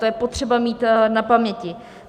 To je potřeba mít na paměti.